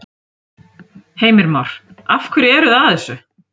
Heimir Már: Af hverju eru þið að þessu?